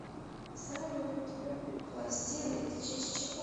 салют пластиды это часть чего